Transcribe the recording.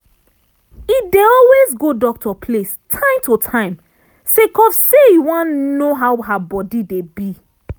e dey always go doctor place time to time sake of say e wan know how her body dey be